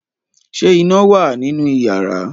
ṣe iná wá nínú iyàrá